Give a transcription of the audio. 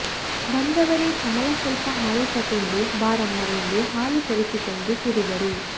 ಬಂದವರೇ ಕಮಲಾ ಸ್ವಲ್ಪ ಹಾಲು ತಗೊಂಡು ಬಾರಮ್ಮ ಎಂದು ಹಾಲು ತರಿಸಿಕೊಂಡು ಕುಡಿದರು